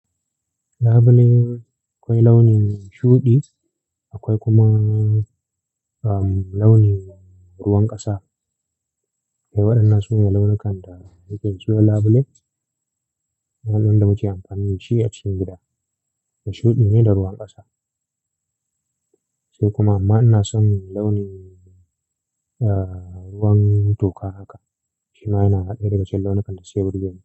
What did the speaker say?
Labule akwai launin shuɗi, akwai kuma, um, launin ruwan ƙasa. Akwai waɗannan su ne launukan da na iya cewa labule. Waɗanda muke amfani da shi a cikin gida. Da shuɗi ne da ruwan ƙasa. Sai kuma amma ina son launin, ah, ruwan toka haka. Shima yana ɗaya daga cikin launukan da suke burgeni.